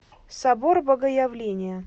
собор богоявления